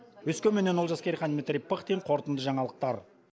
өскеменнен олжас керейхан дмитрий пыхтин қорытынды жаңалықтар